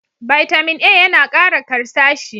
Bitamin A ya na Kara karsashi.